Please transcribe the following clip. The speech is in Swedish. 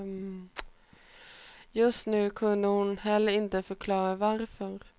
Just nu kunde hon heller inte förklara varför.